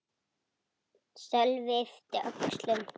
Sölvi yppti öxlum.